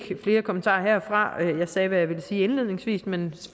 flere kommentarer jeg sagde hvad jeg vil sige indledningsvis men